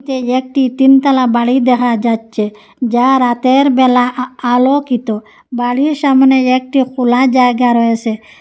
এই একটি তিনতলা বাড়ি দেহা যাচ্ছে যা রাতেরবেলা আ আলোকিত বাড়ির সামনে একটি খোলা জায়গা রয়েসে।